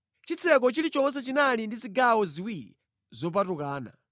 Chitseko chilichonse chinali ndi zigawo ziwiri zopatukana.